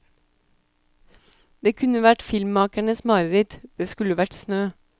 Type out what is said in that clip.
Det kunne vært filmmakernes mareritt, det skulle vært snø.